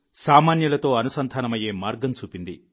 సామాన్యులతో అనుసంధానమయ్యే మార్గం చూపింది